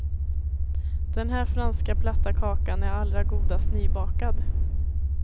Den här franska platta kakan är allra godast nybakad.